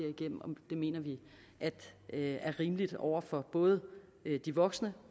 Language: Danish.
mener vi er rimeligt over for både de voksne